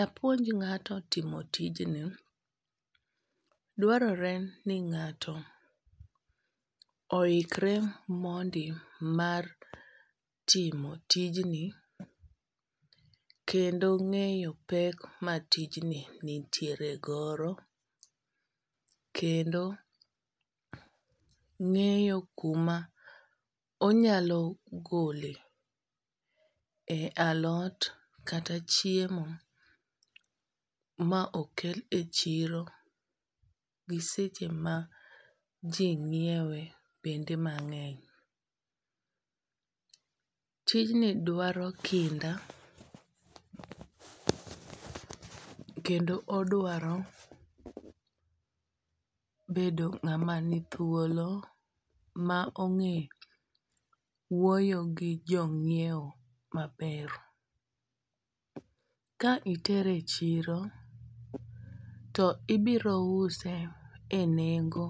apuonj ng'ato timo tijni dwarore ni ng'ato ohikre mondi mar timo tijni kendo ng'eyo pek ma tijni nitiere godo kendo ng'eyo kuma onyalo gole e alot kata chiemo ma okel e chiro gi seche ma ji ng'iewe bende mang'eny. Tijni dwaro kinda kendo odwaro bedo ng'ama ni thuolo ma ong'eyo wuoyo gi jo ng'iew maber. Ka itere e chiro to ibiro use e nengo.